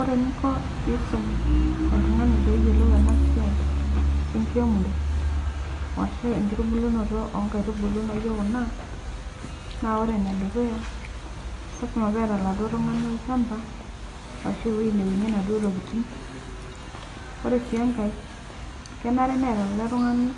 Ore eninko peisum oltungani peyiolou enasia enkiremore ashu enkitubulu onkaitubulu naijo kuna na ore enedukuya nalasima peeta oladuo tungani olchamba ashu ewoi naunie naduo tokitin ore si enkae kenare neeta ele tunganu